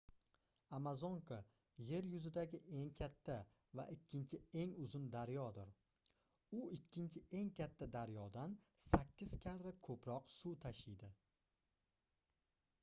amazonka yer yuzidagi eng katta va ikkinchi eng uzun daryodir u ikkinchi eng katta daryodan 8 karra koʻproq suv tashiydi